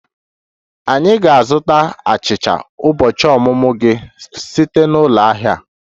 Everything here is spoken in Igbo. Anyị ga-azụta achicha ụbọchị ọmụmụ gị site na ụlọ ahịa a